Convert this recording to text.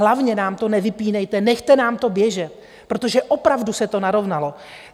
Hlavně nám to nevypínejte, nechte nám to běžet, protože opravdu se to narovnalo.